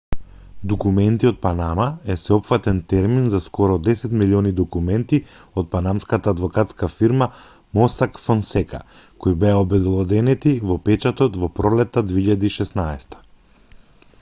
документи од панама е сеопфатен термин за скоро десет милиони документи од панамската адвокатска фирма мосак фонсека кои беа обелоденети во печатот во пролетта 2016